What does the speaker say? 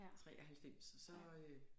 93 så øh